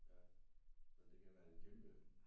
Ja men det kan være en kæmpe